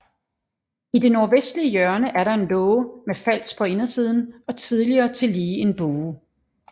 I det nordvestlige hjørne er der en låge med fals på indersiden og tidligere tillige en bue